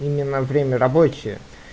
именно время рабочее